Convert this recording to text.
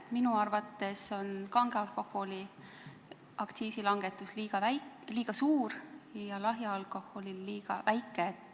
Minu arvates on kange alkoholi aktsiisi langetus liiga suur ja lahjal alkoholil liiga väike.